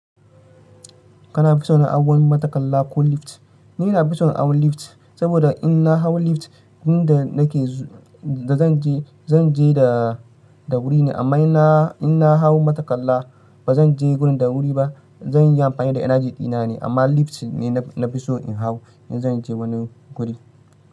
Kana fison a hawa mataƙalla ko lift? Ni nafison hawan lift, saboda in na hau lift, wurin da nake da zanje, zanje da, da wuri ne. Amma ina, in na hau matakalla ba zanje gurin da wuri ba. Zanyi amfani da energy dina ne. Amma lift ne na, nafiso in hau in zanje wani guri.